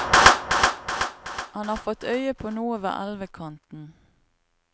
Han har fått øye på noe ved elvekanten.